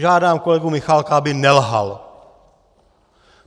Žádám kolegu Michálka, aby nelhal!